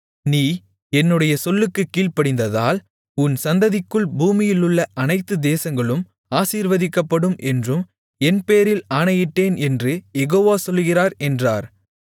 நீ என்னுடைய சொல்லுக்குக் கீழ்ப்படிந்ததால் உன் சந்ததிக்குள் பூமியிலுள்ள அனைத்து தேசங்களும் ஆசீர்வதிக்கப்படும் என்றும் என்பேரில் ஆணையிட்டேன் என்று யெகோவா சொல்லுகிறார் என்றார்